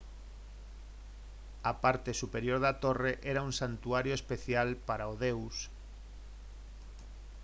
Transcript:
a parte superior da torre era un santuario especial para o deus